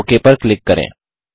okay पर click करें